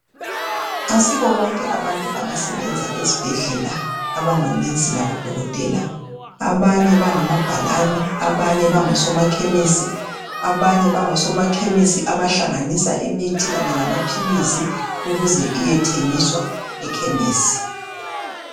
Asibo bonke abantu abasebenza ezibhedlela abango nurse labodokotela. Abanye bangomabhalane, abanye bangosoma khemisi. Abanye bangosoma khemisi abahlanganisa imithi kanye lamaphilizi ukuze iyethengiswa ekhemesi.